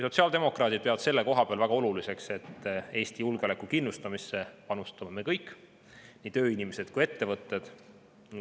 Sotsiaaldemokraadid peavad selle koha peal väga oluliseks, et Eesti julgeoleku kindlustamisse panustame me kõik, nii tööinimesed kui ka ettevõtted.